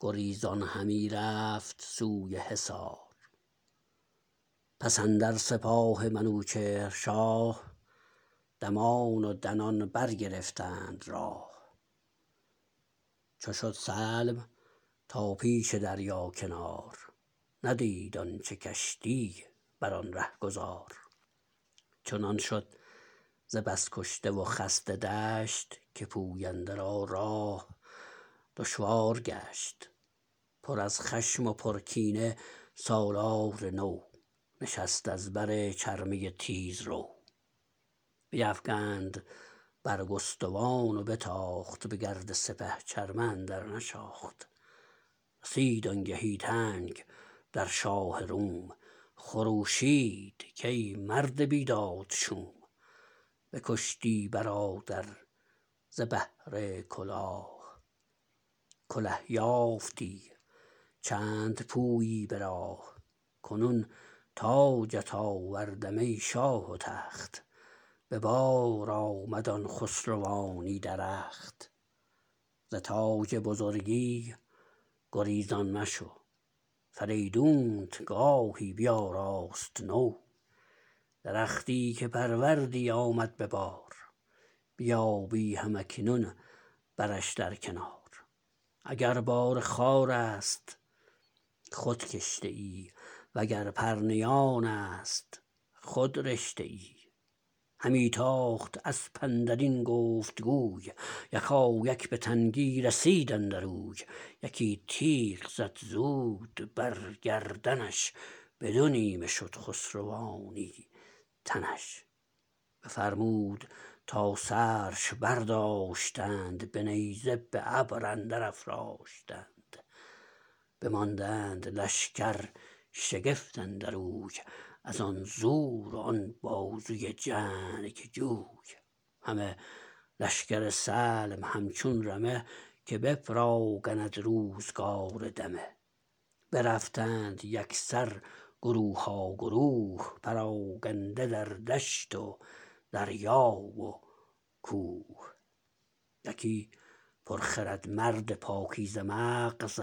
گریزان همی رفت سوی حصار پس اندر سپاه منوچهر شاه دمان و دنان برگرفتند راه چو شد سلم تا پیش دریا کنار ندید آنچه کشتی برآن رهگذار چنان شد ز بس کشته و خسته دشت که پوینده را راه دشوار گشت پر از خشم و پر کینه سالار نو نشست از بر چرمه تیزرو بیفگند برگستوان و بتاخت به گرد سپه چرمه اندر نشاخت رسید آنگهی تنگ در شاه روم خروشید کای مرد بیداد شوم بکشتی برادر ز بهر کلاه کله یافتی چند پویی براه کنون تاجت آوردم ای شاه و تخت به بار آمد آن خسروانی درخت زتاج بزرگی گریزان مشو فریدونت گاهی بیاراست نو درختی که پروردی آمد به بار بیابی هم اکنون برش در کنار اگر بار خارست خود کشته ای و گر پرنیانست خود رشته ای همی تاخت اسپ اندرین گفت گوی یکایک به تنگی رسید اندر اوی یکی تیغ زد زود بر گردنش بدو نیمه شد خسروانی تنش بفرمود تا سرش برداشتند به نیزه به ابر اندر افراشتند بماندند لشکر شگفت اندر اوی ازان زور و آن بازوی جنگجوی همه لشکر سلم همچون رمه که بپراگند روزگار دمه برفتند یکسر گروها گروه پراگنده در دشت و دریا و کوه یکی پرخرد مرد پاکیزه مغز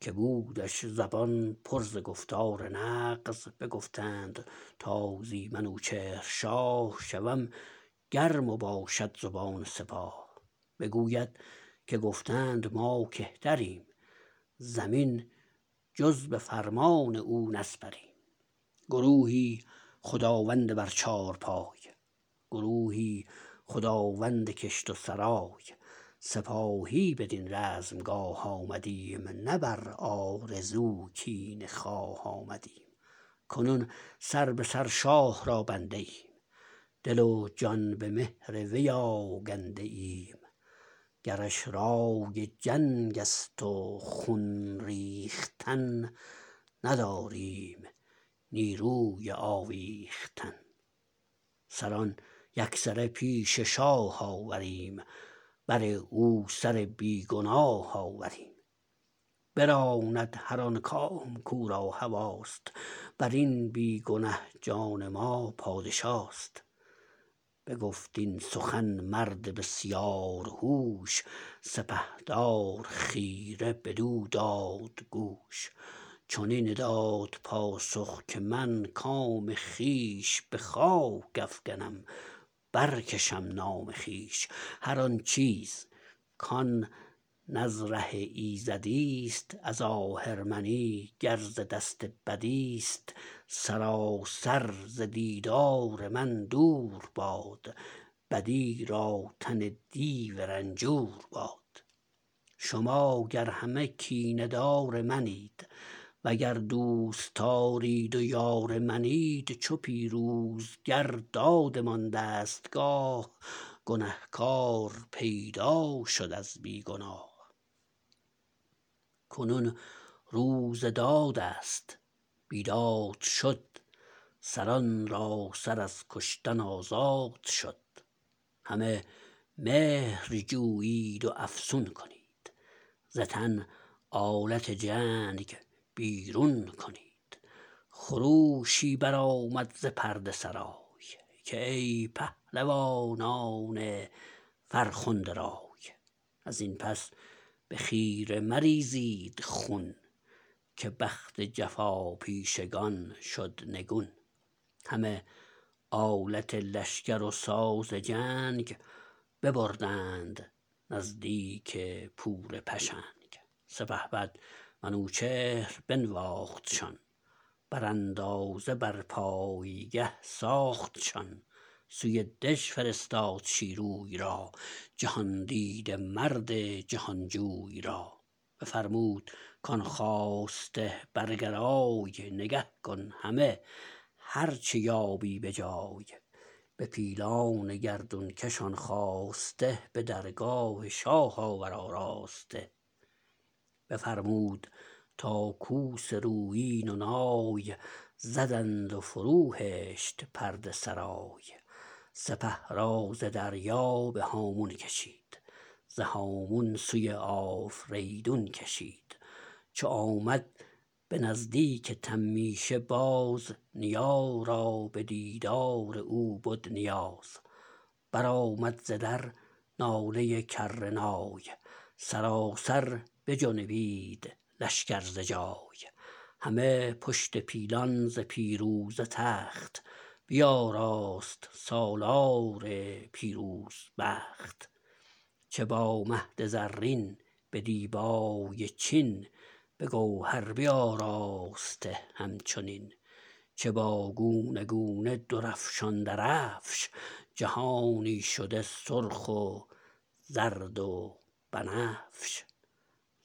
که بودش زبان پر ز گفتار نغز بگفتند تا زی منوچهر شاه شود گرم و باشد زبان سپاه بگوید که گفتند ما کهتریم زمین جز به فرمان او نسپریم گروهی خداوند بر چارپای گروهی خداوند کشت و سرای سپاهی بدین رزمگاه آمدیم نه بر آرزو کینه خواه آمدیم کنون سر به سر شاه را بنده ایم دل و جان به مهر وی آگنده ایم گرش رای جنگ است و خون ریختن نداریم نیروی آویختن سران یکسره پیش شاه آوریم بر او سر بیگناه آوریم براند هر آن کام کو را هواست برین بیگنه جان ما پادشاست بگفت این سخن مرد بسیار هوش سپهدار خیره بدو دادگوش چنین داد پاسخ که من کام خویش به خاک افگنم برکشم نام خویش هر آن چیز کان نز ره ایزدیست از آهرمنی گر ز دست بدیست سراسر ز دیدار من دور باد بدی را تن دیو رنجور باد شما گر همه کینه دار منید وگر دوستدارید و یار منید چو پیروزگر دادمان دستگاه گنه کار پیدا شد از بی گناه کنون روز دادست بیداد شد سران را سر از کشتن آزاد شد همه مهر جویید و افسون کنید ز تن آلت جنگ بیرون کنید خروشی بر آمد ز پرده سرای که ای پهلوانان فرخنده رای ازین پس به خیره مریزید خون که بخت جفاپیشگان شد نگون همه آلت لشکر و ساز جنگ ببردند نزدیک پور پشنگ سپهبد منوچهر بنواختشان براندازه بر پایگه ساختشان سوی دژ فرستاد شیروی را جهاندیده مرد جهانجوی را بفرمود کان خواسته برگرای نگه کن همه هر چه یابی به جای به پیلان گردونکش آن خواسته به درگاه شاه آور آراسته بفرمود تا کوس رویین و نای زدند و فرو هشت پرده سرای سپه را ز دریا به هامون کشید ز هامون سوی آفریدون کشید چو آمد به نزدیک تمیشه باز نیا را بدیدار او بد نیاز برآمد ز در ناله کر نای سراسر بجنبید لشکر ز جای همه پشت پیلان ز پیروزه تخت بیاراست سالار پیروز بخت چه با مهد زرین به دیبای چین بگوهر بیاراسته همچنین چه با گونه گونه درفشان درفش جهانی شده سرخ و زرد و بنفش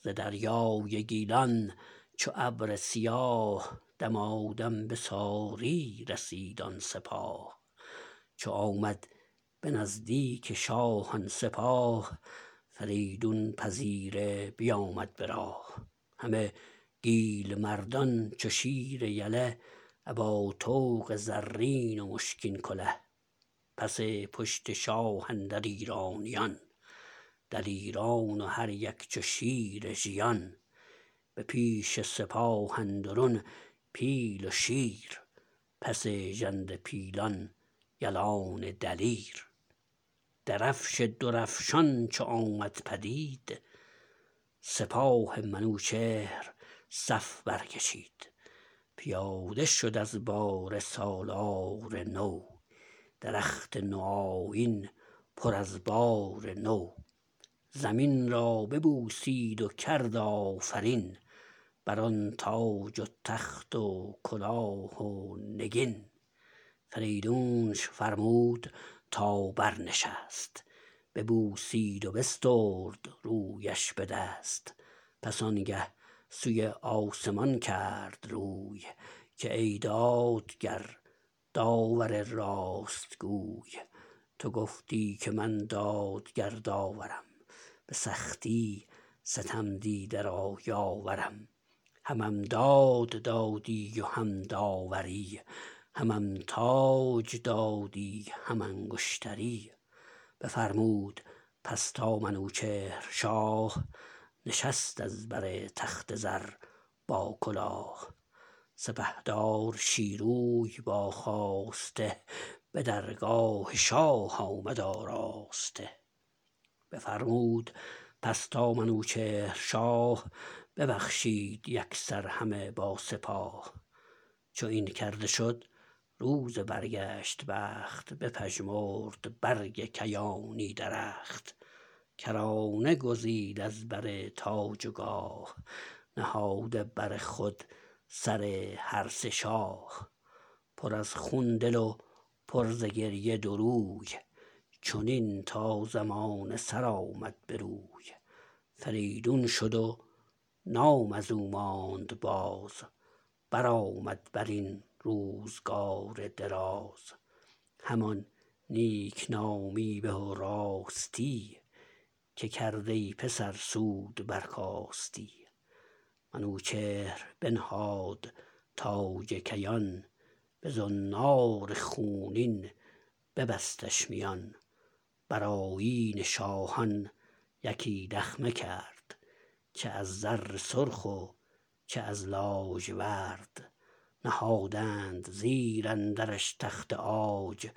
ز دریای گیلان چو ابر سیاه دمادم بساری رسید آن سپاه چو آمد بنزدیک شاه آن سپاه فریدون پذیره بیامد براه همه گیل مردان چو شیر یله ابا طوق زرین و مشکین کله پس پشت شاه اندر ایرانیان دلیران و هر یک چو شیر ژیان به پیش سپاه اندرون پیل و شیر پس ژنده پیلان یلان دلیر درفش درفشان چو آمد پدید سپاه منوچهر صف بر کشید پیاده شد از باره سالار نو درخت نوآیین پر از بار نو زمین را ببوسید و کرد آفرین بران تاج و تخت و کلاه و نگین فریدونش فرمود تا برنشست ببوسید و بسترد رویش به دست پس آنگه سوی آسمان کرد روی که ای دادگر داور راست گوی تو گفتی که من دادگر داورم به سختی ستم دیده را یاورم همم داد دادی و هم داوری همم تاج دادی هم انگشتری بفرمود پس تا منوچهر شاه نشست از بر تخت زر با کلاه سپهدار شیروی با خواسته به درگاه شاه آمد آراسته بفرمود پس تا منوچهر شاه ببخشید یکسر همه با سپاه چو این کرده شد روز برگشت بخت بپژمرد برگ کیانی درخت کرانه گزید از بر تاج و گاه نهاده بر خود سر هر سه شاه پر از خون دل و پر ز گریه دو روی چنین تا زمانه سرآمد بروی فریدون شد و نام ازو ماند باز برآمد برین روزگار دراز همان نیکنامی به و راستی که کرد ای پسر سود برکاستی منوچهر بنهاد تاج کیان بزنار خونین ببستش میان برآیین شاهان یکی دخمه کرد چه از زر سرخ و چه از لاژورد نهادند زیر اندرش تخت عاج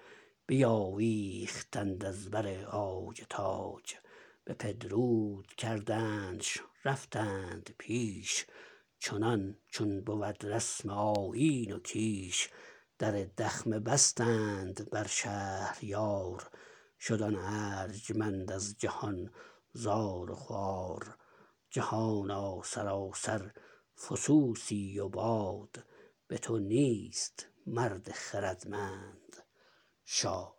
بیاویختند از بر عاج تاج بپدرود کردنش رفتند پیش چنان چون بود رسم آیین و کیش در دخمه بستند بر شهریار شد آن ارجمند از جهان زار و خوار جهانا سراسر فسوسی و باد بتو نیست مرد خردمند شاد